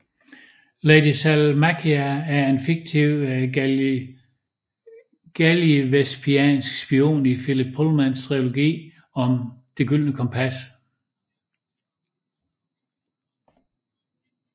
Lady Salmakia er en fiktiv gallivespiansk spion i Philip Pullmans trilogi om Det gyldne kompas